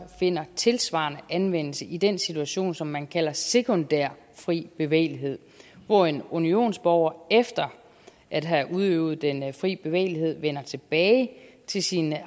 finder tilsvarende anvendelse i den situation som man kalder sekundær fri bevægelighed hvor en unionsborger efter at have udøvet den fri bevægelighed vender tilbage til sin